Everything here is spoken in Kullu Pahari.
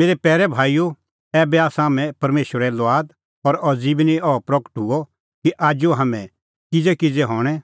मेरै पैरै भाईओ ऐबै आसा हाम्हैं परमेशरे लुआद और अज़ी बी निं अह प्रगट हुअ कि आजू हाम्हैं किज़ैकिज़ै हणैं